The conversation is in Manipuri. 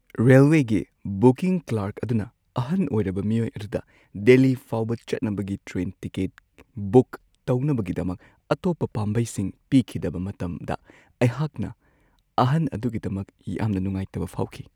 ꯔꯦꯜꯋꯦꯒꯤ ꯕꯨꯀꯤꯡ ꯀ꯭ꯂꯔꯛ ꯑꯗꯨꯅ ꯑꯍꯟ ꯑꯣꯏꯔꯕ ꯃꯤꯑꯣꯏ ꯑꯗꯨꯗ ꯗꯦꯜꯂꯤ ꯐꯥꯎꯕ ꯆꯠꯅꯕꯒꯤ ꯇ꯭ꯔꯦꯟ ꯇꯤꯀꯦꯠ ꯕꯨꯛ ꯇꯧꯅꯕꯒꯤꯗꯃꯛ ꯑꯇꯣꯞꯄ ꯄꯥꯝꯕꯩꯁꯤꯡ ꯄꯤꯈꯤꯗꯕ ꯃꯇꯝꯗ ꯑꯩꯍꯥꯛꯅ ꯑꯍꯟ ꯑꯗꯨꯒꯤꯗꯃꯛ ꯌꯥꯝꯅ ꯅꯨꯡꯉꯥꯏꯇꯕ ꯐꯥꯎꯈꯤ ꯫